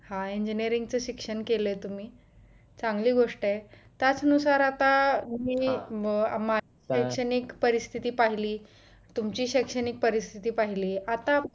हा engineering च शिक्षण केलाय तुम्ही चांगली गोष्ट आहे त्याच नुसार आता तुम्ही शैक्षणिक परिस्थिती पाहिली तुमची शैक्षणिक परिस्तिथी पाहिली आता